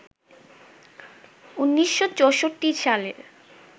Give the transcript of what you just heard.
১৯৬৪ সালের